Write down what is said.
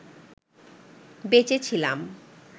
বেঁচে ছিলাম